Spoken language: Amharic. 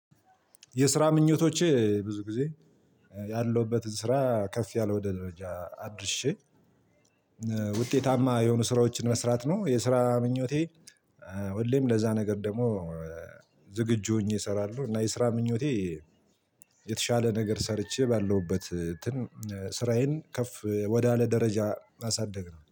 የስራ ምኞቶቼ ብዙ ጊዜ ያለውበትን ስራ ከፍ ያለ ወደ ደረጃ አድርሼ ውጤታማ የሆኑ ስራዎችን መስራት ነው የስራ ምኞቴ። ሁሌም ለዛ ነገር ደግሞ ዝግጁ ሆኜ እሰራለሁ። እና የስራ ምኞቴ የተሻለ ነገር ሰርቼ ባለሁበት ስራዬን ከፍ ወዳለ ደረጃ ማሳደግ ነው